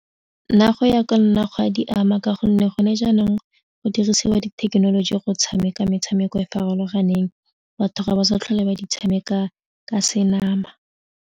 Nna go ya ka nna gwa di ama ka gonne gone jaanong go dirisiwa dithekenoloji go tshameka metshameko e e farologaneng batho ga ba sa tlhole ba di tshameka ka senama.